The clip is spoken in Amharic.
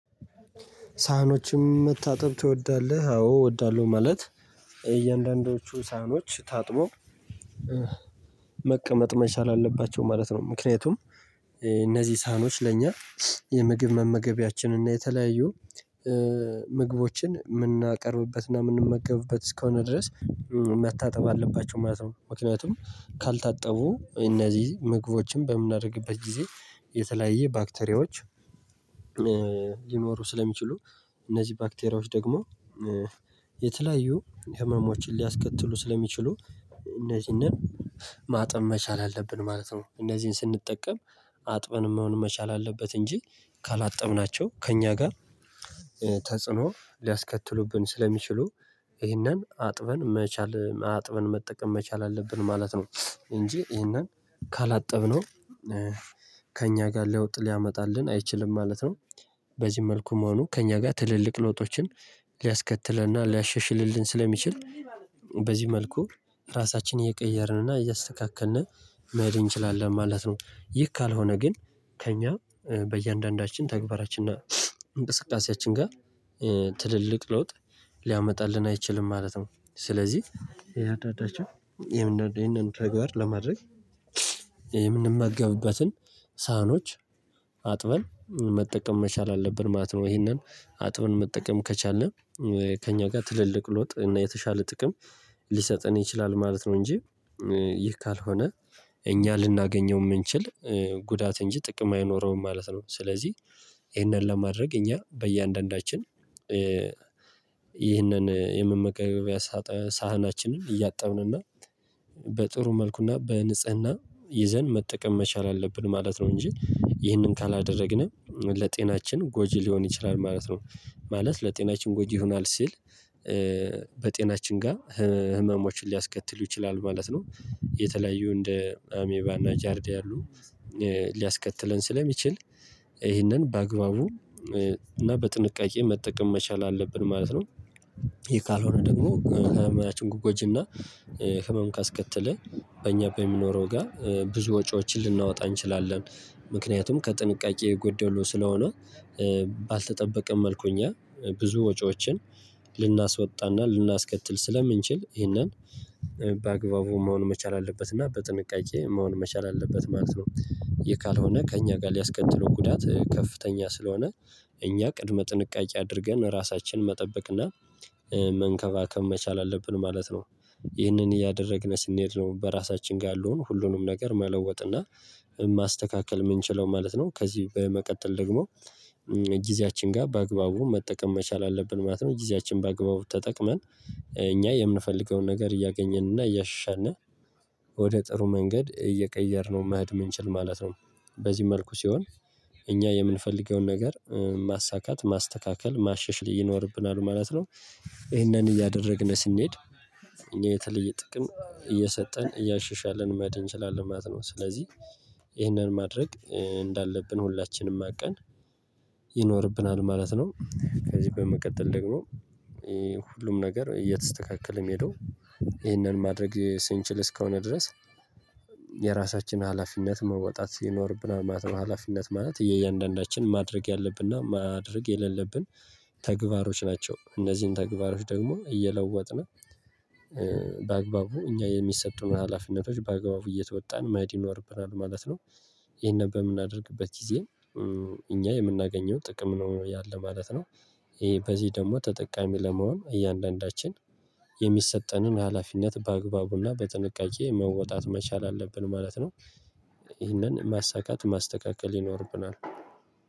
ሳህኖችም መታጠብ ትወዳለህ? አዎ እወዳለሁ ማለት እያንዳንዱቹ ሳህኖች ታጥቦ መቀመጥ መቻል አለባቸው ማለት ነው። ምክንያቱም እነዚህ ሳኖች ለእኛ የምግብ መመገቢያችን እና የተለያዩ ምግቦችን የምናቀርብበት እና የምንመገብበት እስከሆነ ድረስ መታጠብ አለባቸው ማለት ነው። ምክንያቱም ካልታጠቡ እነዚህ ምግቦችን በምናደርግበት ጊዜ የተለያየ ባክቴሪያዎች ሊኖሩ ስለሚችሉ እነዚህ ባክቴሪያዎች ደግሞ የተለያዩ ህመሞችን ሊያስከትሉ ስለሚችሉ እነዚህን ማጥበን መቻል አለብን ማለት ነው። እነዚህን ስንጠቀም አጥበን መሆን መቻል አለበት እንጂ ካላጠብናቸው ከእኛ ጋር ተጽዕኖ ሊያስከትሉብን ስለሚችሉ ይህንን አጥበን መቻል አጥበን መጠቀም መቻል አለብን ማለት ነው። እንጂ ይህንን ካላጠብነው ከእኛ ጋር ለውጥ ሊያመጣልን አይችልም ማለት ነው። በዚህ መልኩ መሆኑ ከእኛ ጋር ትልልቅ ለውጦችን ሊያስከትልና ሊያሻሽልልን ስለሚችል በዚህ መልኩ ራሳችንን እየቀየርንና እያስተካከልን መሄድ እንችላለን ማለት ነው። ይህ ካልሆነ ግን ከእኛ በእያንዳንዳችን ተግባራችን እና እንቅስቃሴያችን ጋር ትልልቅ ለውጥ ሊያመጣልን አይችልም ማለት ነው። ስለዚህ ያጸዳናቸው ይሄንን ተግባር ለማድረግ ይሄንን የምንመገብበትን ሳህኖች አጥበን መጠቀም መቻል አለብን ማለት ነው። ይሄንን አጥብን መጠቀም ከቻልን ከእኛ ጋር ትልልቅ ለውጥ እና የተሻለ ጥቅም ሊሰጠን ይችላል ማለት ነው። እንጂ ይህ ካልሆነ እኛ ልናገኘው የምንችል ጉዳት እንጂ ጥቅም አይኖረውም ማለት ነው። ስለዚህ ይህንን ለማድረግ እኛ በእያንዳንዳችን ይህንን የመመገቢያ ሳህናችንን እያጣብንና በጥሩ መልኩና በንጽህና ይዘን መጠቀም መቻል አለብን ማለት ነው። እንጂ ይህንን ካላደረግንም ለጤናችን ጎጂ ሊሆን ይችላል ማለት ነው። ማለት ለጤናችን ጎጂ ይሆናል ሲል በጤናችን ጋር ህመሞችን ሊያስከትሉ ይችላሉ ማለት ነው። የተለያዩ እንደ አሜባና ጃርዲያ ያሉ ሊያስከትለን ስለሚችል ይህንን በአግባቡ እና በጥንቃቄ መጠቀም መቻል አለብን ማለት ነው። ይሄ ካልሆነ ደግሞ ጤናችንን ጎጂና ህመም ካስከተለ በእኛ በሚኖረው ጋር ብዙ ወጪዎችን ልናወጣ እንችላለን። ምክንያቱም ከጥንቃቄ የጎደለው ስለሆነ ባልተጠበቀም መልኩ እኛ ብዙ ወጪዎችን ልናስወጣና ልናስከትል ስለምንችል ይሄንን በአግባቡ መሆን መቻል አለበት እና በጥንቃቄ መሆን መቻል አለበት ማለት ነው። ይሄ ካልሆነ ከእኛ ጋር ሊያስከትለው ጉዳት ከፍተኛ ስለሆነ እኛ ቅድመ ጥንቃቄ አድርገን ራሳችንን መጠበቅና መንከባከብ መቻል አለብን ማለት ነው። ይህንን እያደረግን ስንሄድ ነው በራሳችን ጋር ያለውን ሁሉንም ነገር መለወጥ እና ማስተካከል የምንችለው ማለት ነው። ከዚህ በመቀጠል ደግሞ ጊዜያችን ጋር በአግባቡ መጠቀም መቻል አለብን ማለት ነው። ጊዜያችን በአግባቡ ተጠቅመን እኛ የምንፈልገውን ነገር እያገኘን እና እያሻሻልን ወደ ጥሩ መንገድ እየቀየርነው መሄድ የምንችል ማለት ነው። በዚህ መልኩ ሲሆን እኛ የምንፈልገውን ነገር ማሳካት ማስተካከል ማሻሻል ይኖርብናል ማለት ነው። ይሄንን እያደረግን ስንሄድ የተለየ ጥቅም እየሰጠን እያሸሻልን መሄድ እንችላለን ማለት ነው። ስለዚህ ይህንን ማድረግ እንዳለብን ሁላችንም አውቀን ይኖርብናል ማለት ነው። ከዚህ በመቀጠል ደግሞ ሁሉም ነገር እየተስተካከለ የሚሄደው ይህንን ማድረግ ስንችል እስከሆነ ድረስ የራሳችን ሀላፊነት መወጣት ይኖርብናል ማለት ነው። ሀላፊነት ማለት እያንዳንዳችን ማድረግ ያለብና ማድረግ የሌለብን ተግባሮች ናቸው። እነዚህን ተግባሮች ደግሞ እየለወጥን በአግባቡ እኛ የሚሰጡን ሀላፊነቶች በአግባቡ እየተወጣን መሄድ ይኖርብናል ማለት ነው። ይሄንን በምናደርግበት ጊዜ እኛ የምናገኘው ጥቅም ነው ያለ ማለት ነው። ይሄ በዚህ ደግሞ ተጠቃሚ ለመሆን እያንዳንዳችን የሚሰጠንን ሀላፊነት በአግባቡና በጥንቃቄ መወጣት መቻል አለብን ማለት ነው። ይህንን ማሳካት ማስተካከል ይኖርብናል።